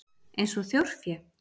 Eins og þjórfé?